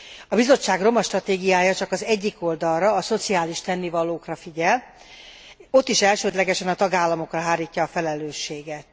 A Bizottság romastratégiája csak az egyik oldalra, a szociális tennivalókra figyel, ott is elsődlegesen a tagállamokra hárítja a felelősséget.